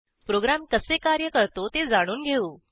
program कसे कार्य करतो ते जाणून घेऊ